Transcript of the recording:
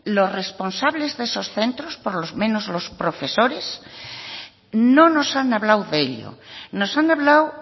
los responsables de esos centros por lo menos los profesores no nos han hablado de ello nos han hablado